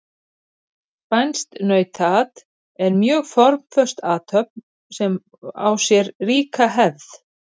Spænskt nautaat er mjög formföst athöfn sem á sér ríka hefð.